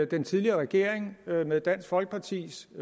den tidligere regering med dansk folkepartis